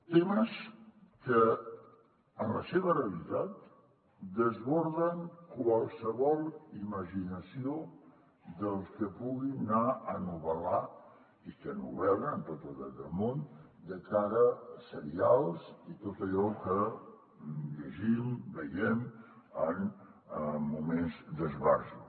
temes que en la seva realitat desborden qualsevol imaginació dels que puguin anar a novel·lar i que novel·len amb tot el dret del món de cara a serials i tot allò que llegim veiem en moments d’esbarjo